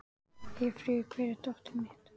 Eyfríður, hvar er dótið mitt?